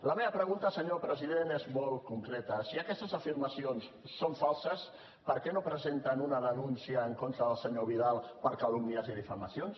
la meva pregunta senyor president és molt concreta si aquestes afirmacions són falses per què no presenten una denúncia en contra del senyor vidal per calúmnies i difamacions